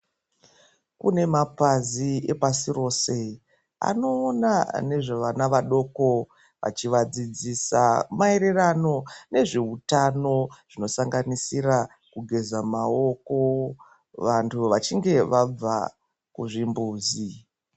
Kune mapazi epasi rose anoona nezvevana vadoko achivadzidzisa nezveutano zvinosanganisira kugeza maoko vantu vachinge vabva kuchimbizi.